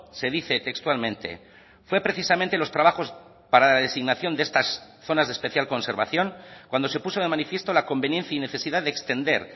se dice textualmente fue precisamente los trabajos para la designación de estas zonas de especial conservación cuando se puso de manifiesto la conveniencia y necesidad de extender